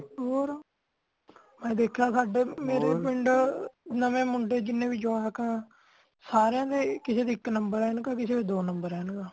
ਹੋਰ ,ਮੈ ਦੇਖਿਆ ਸਾਡੇ ਮੇਰੇ ਪਿੰਡ ਨਵੇਂ ਮੁੰਡੇ ਜਿੰਨੇ ਵੀ ਜਵਾਕ ਆ , ਸਾਰਿਆਂ ਦੇ ਕਿਸੇ ਦੀ ਇਕ numberਐਨਕ ਹੈ , ਕਿਸੇ ਦੀ ਦੋ number ਐਨਕ ਹੈ